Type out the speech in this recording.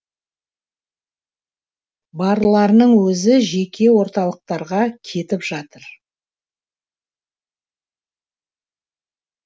барларының өзі жеке орталықтарға кетіп жатыр